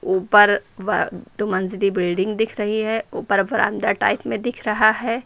ऊपर वार दो मंजिली बिल्डिंग दिख रही है ऊपर बरामदा टाइप में दिख रहा है।